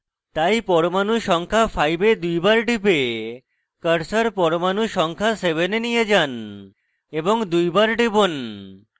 তাই পরমাণু সংখ্যা 5 এ দুইবার টিপে cursor পরমাণু সংখ্যা 7 এ নিয়ে যান এবং দুইবার টিপুন